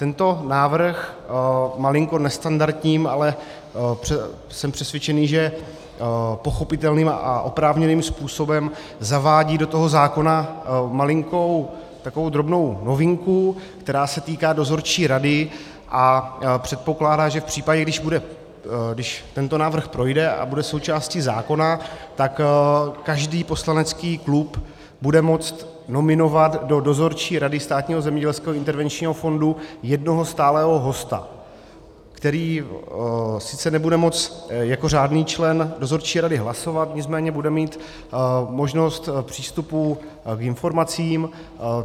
Tento návrh malinko nestandardní, ale jsem přesvědčený, že pochopitelným a oprávněným způsobem zavádí do toho zákona malinkou, takovou drobnou novinku, která se týká dozorčí rady a předpokládá, že v případě, když tento návrh projde a bude součástí zákona, tak každý poslanecký klub bude moct nominovat do Dozorčí rady Státního zemědělského intervenčního fondu jednoho stálého hosta, který sice nebude moct jako řádný člen dozorčí rady hlasovat, nicméně bude mít možnost přístupu k informacím.